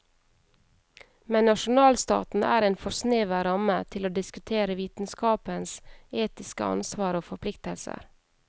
Men nasjonalstaten er en for snever ramme til å diskutere vitenskapens etiske ansvar og forpliktelser.